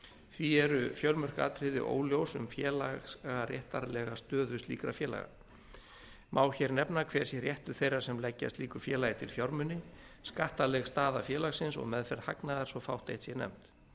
því eru fjölmörg atriði óljós um félagaréttarlega stöðu slíkra félaga má hér nefna hver sé réttur þeirra sem leggja slíku félagi til fjármuni skattaleg staða félagsins og meðferð hagnaðar svo fátt eitt sé nefnt